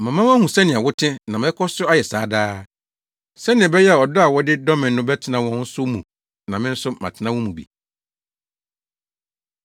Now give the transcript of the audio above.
Mama wɔahu sɛnea wo te, na mɛkɔ so ayɛ saa daa, sɛnea ɛbɛyɛ a ɔdɔ a wodɔ me no bɛtena wɔn nso mu na me nso matena wɔn mu bi.”